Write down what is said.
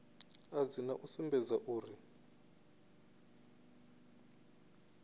a dzina u sumbedza uri